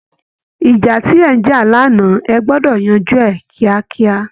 ìjà tí ẹ ń jà lánàá, ẹ gbọ́dọ̀ yanjú ẹ̀ kíákíá!